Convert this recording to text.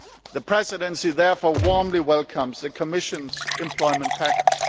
The Presidency therefore warmly welcomes the Commission's employment package.